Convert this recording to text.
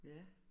Ja